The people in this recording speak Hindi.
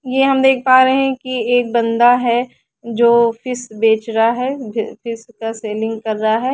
यहाँ हम देख पा रहे है की एक बाँदा है जो फ़ीस बेच रहा है जो फ़ीस की सेल्लिंग कर रहा है।